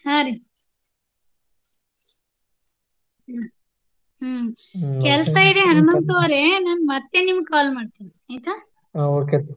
ಹಾ ರೀ. ಹಾ ಕೆಲ್ಸಾ ಇದೆ ಹಣಮಂತು ಅವ್ರೆ ನಾನ್ ಮತ್ತೆ ನಿಮ್ಗ್ call ಮಾಡ್ತೇನಿ ಆಯ್ತಾ?